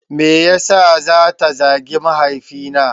Me yasa ta zagi mahaifi na?